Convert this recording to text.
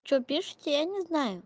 что пишите я не знаю